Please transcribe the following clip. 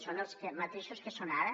són els mateixos que són ara